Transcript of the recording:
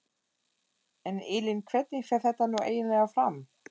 En Elín hvernig fer þetta nú eiginlega fram?